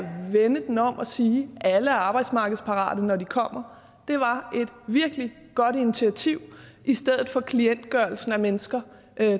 vende den om og sige at alle er arbejdsmarkedsparate når de kommer var et virkelig godt initiativ i stedet for klientgørelsen af mennesker